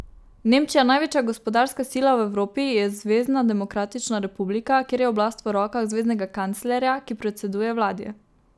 Nemčija, največja gospodarska sila v Evropi, je zvezna demokratična republika, kjer je oblast v rokah zveznega kanclerja, ki predseduje vladi.